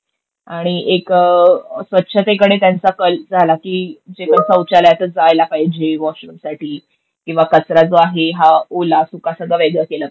आणि एक स्वच्छतेकडे त्यांचा कल झाला की सौचालयातच जायला पाहिजे वॉशरूम साठी किंवा कचरा जो आहे हा ओला, सुका सगळं वेगळं केलं पाहिजे.